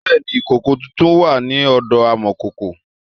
Bẹẹ ni, ìkòkò tuntun wà ní ọ̀dọ amọ̀kòkò